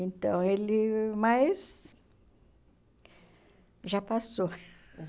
Então, ele... Mas... Já passou.